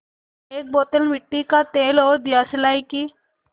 एक बोतल मिट्टी का तेल और दियासलाई की